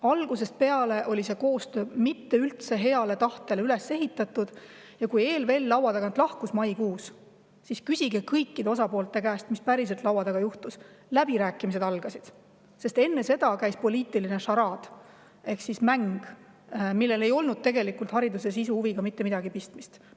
Algusest peale oli see koostöö mitte üldse heale tahtele üles ehitatud ja kui ELVL maikuus laua tagant lahkus – küsige kõikide osapoolte käest, mis päriselt seal laua taga juhtus –, algasid läbirääkimised, sest enne seda käis poliitiline šaraad ehk mäng, millel ei olnud hariduse sisuga tegelikult mitte midagi pistmist.